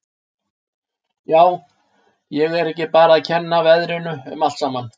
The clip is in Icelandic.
Já, á ég ekki bara að kenna veðrinu um allt saman.